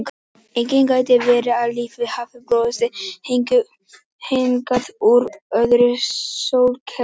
Einnig gæti verið að lífið hafi borist hingað úr öðru sólkerfi.